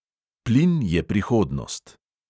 Plin je prihodnost.